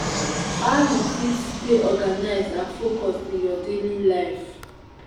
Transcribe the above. how you fit stay organized and focused in your daily life?